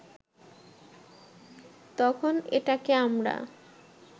তখন এটাকে আমরা